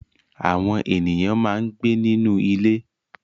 Àwọn ènìyàn máa ń gbé nínú ilé.